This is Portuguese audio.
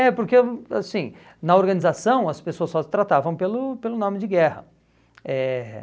É porque, assim, na organização as pessoas só se tratavam pelo pelo nome de guerra. Eh